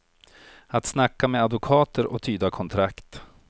Att snacka med advokater och tyda kontrakt.